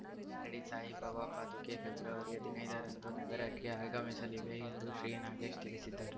ಶಿರಡಿ ಸಾಯಿಬಾಬಾ ಪಾದುಕೆ ಫೆಬ್ರವರಿ ಹದಿನೈದ ರಂದು ನಗರಕ್ಕೆ ಆಗಮಿಸಲಿವೆ ಎಂದು ಶ್ರೀನಾಗೇಶ್‌ ತಿಳಿಸಿದ್ದಾರೆ